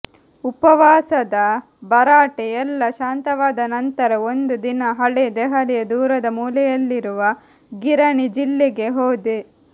ಉಪವಾಸದ ಭರಾಟೆ ಎಲ್ಲ ಶಾಂತವಾದ ನಂತರ ಒಂದು ದಿನ ಹಳೇ ದೆಹಲಿಯ ದೂರದ ಮೂಲೆಯಲ್ಲಿರುವ ಗಿರಣಿ ಜಿಲ್ಲೆಗೆ ಹೋದೆ